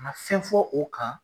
Ka na fɛn fɔ o kan.